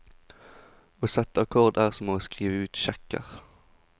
Å sette akkorder er som å skrive ut sjekker.